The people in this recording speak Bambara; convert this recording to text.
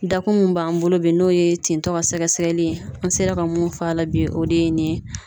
Dakun min b'an bolo bi n'o ye tentɔ ka sɛgɛsɛgɛli ye , an sera ka mun f'a la bi o de ye nin ye.